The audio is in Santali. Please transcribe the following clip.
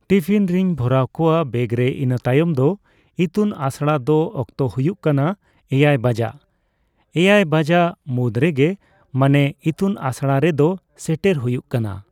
ᱴᱤᱯᱷᱤᱱ ᱨᱤᱧ ᱵᱷᱚᱨᱟᱣ ᱠᱚᱣᱟ ᱵᱮᱜᱨᱮ ᱤᱱᱟᱹᱛᱟᱭᱚᱢ ᱫᱚ ᱤᱛᱩᱱ ᱟᱥᱲᱟ ᱫᱚ ᱚᱠᱛᱚ ᱦᱩᱭᱩᱜ ᱠᱟᱱᱟ ᱮᱭᱟᱭ ᱵᱟᱡᱟᱜ ᱾ ᱮᱭᱟᱭ ᱵᱟᱡᱟᱜ ᱢᱩᱫᱽ ᱨᱮᱜᱮ ᱢᱟᱱᱮ ᱤᱛᱩᱱ ᱟᱥᱲᱟ ᱨᱮᱫᱚ ᱥᱮᱴᱮᱨ ᱦᱩᱭᱩᱜ ᱠᱟᱱᱟ ᱾